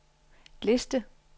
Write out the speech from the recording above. liste